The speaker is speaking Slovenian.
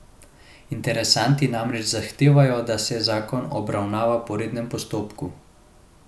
Interesenti namreč zahtevajo, da se zakon obravnava po rednem postopku.